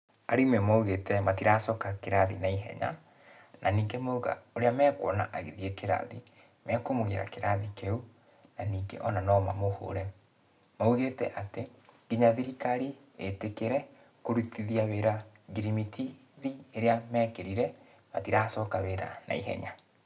Arimũ maugĩte matiracoka kĩrathi naihenya, na ningĩ mauga, ũrĩa mekuona agĩthiĩ kĩrathi, nĩ mekũmũgĩra kĩrathi kĩu, na ningĩ ona no mamũhũre. Maugĩte atĩ, kinya thirikari ĩtĩkĩre kurutithia wĩra ngirimitithi ĩrĩa mekĩrire, matiracoka wĩra naihenya.